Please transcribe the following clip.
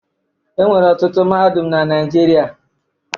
E nwere ọtụtụ mahadum na Naịjirịa.